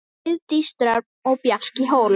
Heiðdís Dröfn og Bjarki Hólm.